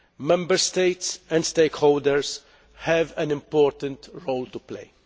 Member States and stakeholders have an important role to play.